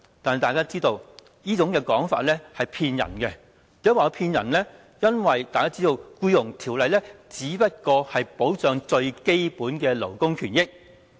但是，大家知道這種說法是騙人的，因為大家也知道《僱傭條例》只不過是保障最基本的勞工權益。